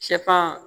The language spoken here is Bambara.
Sɛfan